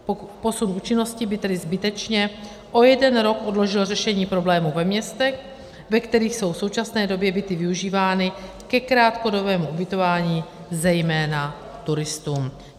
Posun účinnosti by tedy zbytečně o jeden rok odložil řešení problémů ve městech, ve kterých jsou v současné době byty využívány ke krátkodobému ubytování, zejména turistům.